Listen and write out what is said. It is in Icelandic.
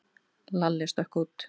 Lalli stökk út.